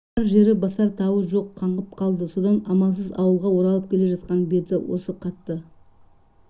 барар жері басар тауы жоқ қаңғып қалды содан амалсыз ауылға оралып келе жатқан беті осы қатты